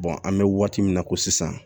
an bɛ waati min na ko sisan